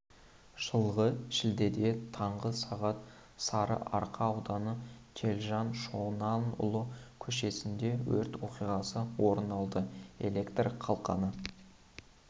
жылғы шілдеде таңғы сағат сарыарқа ауданы телжан шонанұлы көшесінде өрт оқиғасы орын алды электр қалқаны